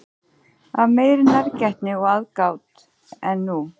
Af meiri nærgætni og aðgát en nú?